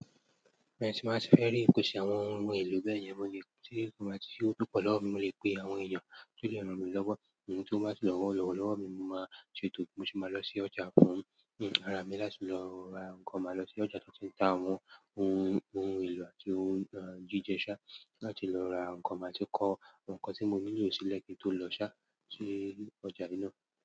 Bẹ́ẹ̀ni, tí màá ṣe fẹ́ rí ìpèsè àwọn ohun èlò bẹ́yẹn, mo lè tí kò bá ti sí owó púpọ̀ lọ́wọ́ mi, mo lè pe àwọn èèyàn tí ó lè ràn mí lọ́wọ́. Ohun tí wọ́n máa sì lọ́wọ́ lọ́wọ́ lọ́wọ́ mi, mo máa ṣe ètò, mo sì máa lọ sí ọjà fún un. Fúnra mí láti lọ ra nǹkan, máa lọ sí ọjà t'ọ́n ti ń ta àwọn ohun ohun èlò àti ohun jíjẹ ṣá, láti lọ ra nǹkan, màá ti kọ nǹkan tí mo nílò sílẹ̀ kí n tó lọ ṣáá sí ọjà yìí náà.